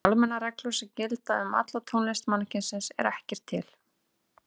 En almennar reglur sem gildi um alla tónlist mannkynsins eru ekki til.